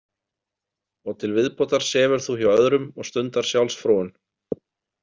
Og til viðbótar sefur þú hjá öðrum og stundar sjálfsfróun.